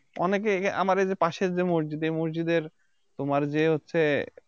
অনেকে~ কে আমাদের যে পাশের যে মসজিদ এই মসজিদের তোমার যে হচ্ছে